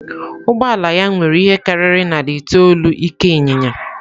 Ụgbọ ala ya nwere ihe karịrị narị itoolu ike inyinya.